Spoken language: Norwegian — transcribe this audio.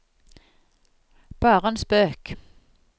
bare en spøk